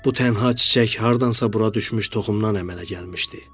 Bu tənha çiçək hardansa bura düşmüş toxumdan əmələ gəlmişdi.